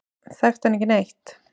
Þekkti hann ekki neitt.